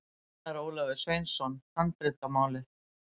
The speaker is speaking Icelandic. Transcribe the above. Einar Ólafur Sveinsson, Handritamálið.